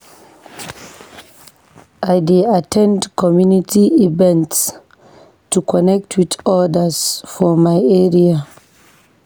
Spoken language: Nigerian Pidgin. I dey at ten d community events to connect with others for my area.